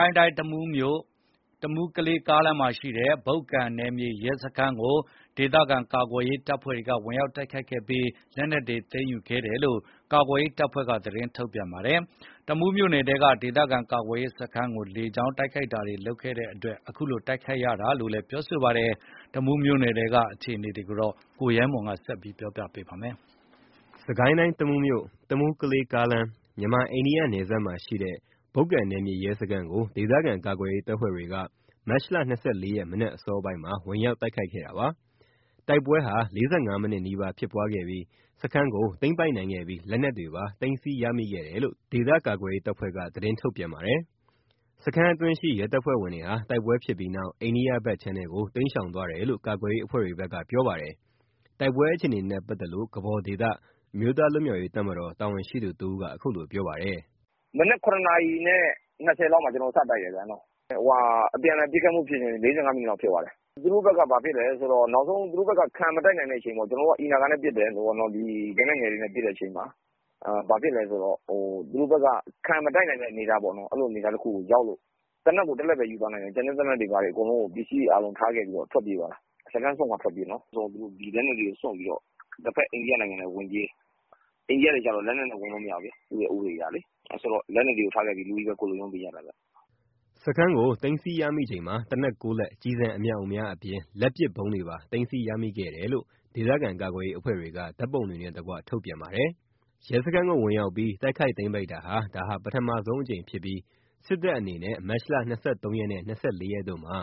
ိုင်းတိုင်း တမူးမြို့ တမူး-ကလေး ကားလမ်းမှာရှိတဲ့ ဘုတ်ကန် နယ်မြေရဲစခန်းကို ဒေသခံကာကွယ်ရေးတပ်ဖွဲ့တွေက ဝင်ရောက်တိုက်ခိုက်ခဲ့ပြီး လက်နက်တွေလည်း သိမ်းယူရရှိခဲ့တယ်လို့ ကာကွယ်ရေးအဖွဲ့တွေက သတင်းထုတ်ပြန်ပါတယ်။ တမူးမြို့နယ်ထဲက ဒေသခံကာကွယ်ရေး စခန်းကို လေကြောင်း တိုက်ခိုက်တာတွေ လုပ်တဲ့အတွက် အခုလို တိုက်ခိုက်ရတာလို့လည်း ပြောပါတယ်။ တမူးမြို့နယ်ထဲက အခြေအနေတွေကို ကိုရဲမွန်က ပြောပြပါမယ်။ စစ်ကိုင်းတိုင်း တမူးမြို့ တမူး ကလေး ကားလမ်း မြန်မာ အိန္ဒိယ နယ်စပ်မမှာရှိတဲ့ ဘုတ်ကန် နယ်မြေရဲစခန်းကို ဒေသခံကာကွယ်ရေး တပ်ဖွဲ့တွေက မတ်လ ၂၄ ရက် မနက်အစောပိုင်းမှာ ဝင်ရောက်တိုက်ခိုက်ခဲ့တာပါ။ တိုက်ပွဲ ၄၅ မိနစ်နီးပါး ဖြစ်ပွားခဲ့ပြီး စခန်းကို သိမ်းပိုက်နိုင်ခဲ့ပြီး လက်နက်တွေပါ သိမ်းဆည်းရမိခဲ့တယ်လို့ ဒေသကာကွယ်ရေးတပ်ဖွဲ့ က သတင်းထုတ်ပြန်ပါတယ်။ စခန်းအတွင်းရှိ ရဲတပ်ဖွဲ့ဝင်တွေဟာ တိုက်ပွဲဖြစ်ပြီးနောက် အိန္ဒိယယ ဘက်ခြမ်းထဲကို တိမ်းရှောင်သွားတယ်လို့ ကာကွယ်ရေးအဖွဲ့တွေဘက်က ပြောပါတယ်။ တိုက်ပွဲအခြေအနေနဲ့ ပတ်သက်လို့ ကဘော်ဒေသ အမျိုးသားလွတ်မြောက်ရေး တပ်မတော် တာဝန်ရှိသူ တဦးက အခုလို ပြောပါတယ်။ “မနက် ၇ နာရီ ၂၀ လောက်မှာ ကျွန်တော်တို့စတိုက်တယ်။ ပစ်ခတ်မှုဖြစ်စဉ် ၄၅ မိနစ်လောက်ဖြစ်သွားတယ်။ သူတို့ဘက်က ဘာဖြစ်လည်းဆိုတော့ သူတို့ဘက်က ခံမတိုက်နိုင်တော့တဲ့အချိန် ကျွန်တော်တို့က အီနာဂါနဲ့ပစ်တယ်။ လက်နက်ငယ်တွေနဲ့ ပစ်တဲ့အချိန်မှာ သူတို့ဘက်က ခံမတိုက်နိုင်တဲ့အနေအထားပေါ့နော်။ အဲ့လိုအနေအထားတခုကိုရောက်လို့ သေနတ် ကို ၁ လက်ပဲယူသွားနိုင်တယ်။ ကျန်တဲ့သေနတ်တွေအကုန် ပစ္စည်းတွေထားခဲ့ပြီးတော့ ထွက်ပြေးသွားတာ။ စခန်းစွန့်ခွါထွက်ပြေးနော်။ လက်နက်တွေကိုစွန့်ပြီးတော့ တဖက်အိန္ဒိယနိုင်ငံထဲကို ဝင်ပြေးတယ်။ အိန္ဒိယထဲကြတော့ လက်နက်နဲ့ဝင်လို့မရဘူးလေ။ သူတို့ဥပဒေအရလေ။ အဲ့တော့ လက်နက်တွေထားခဲ့ပြီး လူပဲကိုယ်လွတ်ရုန်းပြေးကြတာ။” စခန်းကို သိမ်းဆည်းရမိချိန်မှာ သေနတ် ၉ လက် ကျည်ဆံအမြောက်အများ အပြင် လက်ပစ်ဗုံးတွေပါ သိမ်းဆည်းရမိခဲ့တယ်လို့ ဒေသခံကာကွယ်ရေးအဖွဲ့တွေက ဓာတ်ပုံတွေနဲ့ တကွ ထုတ်ပြန်ပါတယ်။ ရဲစခန်းကို ဝင်ရောက်ပြီး တိုက်ခိုက်သိမ်းပိုက်တာဟာ ဒါပထမဆုံးအကြိမ် ဖြစ်ပြီး စစ်တပ်အနေနဲ့ မတ်လ ၂၃ ရက်နဲ့ ၂၄ ရက်တို့မှာ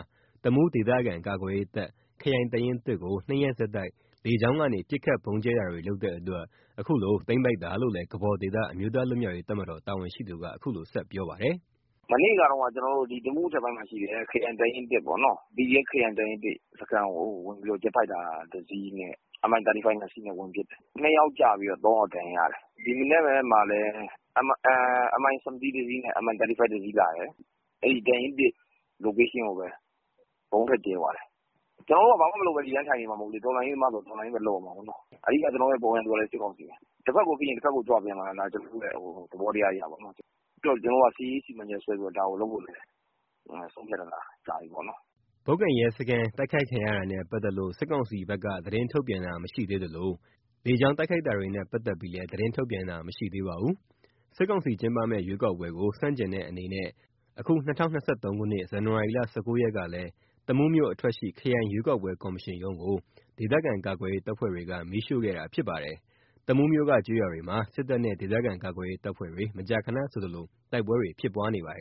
တမူးဒေသခံကာကွယ်ရေးတပ် ခရိုင်တပ်ရင်း ၁ ကို ၂ ရက်ဆက်တိုက် လေကြောင်းကနေ ပစ်ခတ် ဗုံးကြဲတာတွေ လုပ်တဲ့အတွက် အခုလို သိမ်းပိုက်တာလို့လည်း ကဘော်ဒေသ အမျိုးသားလွတ်မြောက်ရေးတပ်မတော် တာဝန်ရှိသူက အခုလို ဆက်ပြောပါတယ်။ “မနေ့ကတုန်းက တမူးအထက်ပိုင်းမှာရှိတဲ့ ခရိုင်တပ်ရင်း ၁ ပေါ့နော်။ ခရိုင် တပ်ရင်း ၁ စခန်းကို ဝင်ပြီးတော့ ဂျက်ဖိုက်တာ ၁ စီးနဲ့ Mi35 ၂ စီးနဲ့ ဝင်ပစ်တယ်။ ၂ ယောက်ကျပြီး ၃ ယောက်ဒဏ်ရာရတယ်။ ဒီမနက်မှာလည်း Mi 17 တစီးနဲ့ Mi35 တစီးလာတယ်။ အဲ့တပ်ရင်း ၁ Location ကိုပဲ ဗုံးထပ်ကြဲသွားတယ်။ ကျွန်တော်တို့က ဘာမှ မလုပ်ဘဲ ဒီတိုင်းထိုင်နေမှာ မဟုတ်ဘူး။ တော်လှန်ရေးသမားဆိုတော့ တော်လှန်ရေးပဲ လုပ်ရမှာပေါ့။ အဓိက ကျွန်တော်တို့ရဲ့ ပုန်ကန်သူကလည်း စစ်ကောင်စီပဲ။ တဖက်ကိုဖိရင် တဖက်ကို ကြွပေးရမှာ ကျွန်တော်တို့ရဲ့ သဘောတရားပေ့ါနော်။ ပြီးတော့ ကျွန်တော်တို့က စစ်ရေး စီမံချက်ဆွဲပြီး ဒါကိုလုပ်ဖို့ ဆုံးဖြတ်ထားတာလည်း ကြာပြီပေါ့လေနော်။” ဘုက္တန်ရဲစခန်း တိုက်ခိုက်ခံရတာနဲ့ ပတ်သက်လို့ စစ်ကောင်စီဘက်က သတင်းထုတ်ပြန်တာမရှိသေးသလို လေကြောင်းတိုက်ခိုက်တာတွေနဲ့ ပတ်သက်ပြီးလည်း သတင်းထုတ်ပြန်တာမရှိသေးပါဘူး။ စစ်ကောင်စီ ကျင်းပမယ့် ရွေးကောက်ပွဲကို ဆန့်ကျင်တဲ့အနေနဲ့ အခု၂၀၂၃ ခုနှစ် ဇန်နဝါရီ ၁၉ ရက်ကလည်း တမူးမြို့အထွက်ရှိ ခရိုင်ရွေးကောက်ပွဲကော်မရှင်ရုံးကို ဒေသခံကာကွယ်ရေးတပ်ဖွဲ့တွေက မီးရှို့ခဲ့တာ ဖြစ်ပါတယ်။တမူးမြို့က ကျေးရွာတွေမှာ စစ်တပ်နဲ့ ဒေသခံကာကွယ်ရေး တပ်ဖွဲ့တွေ မကြာခဏဆိုသလို တိုက်ပွဲတွေ ဖြစ်ပွားနေပါတယ်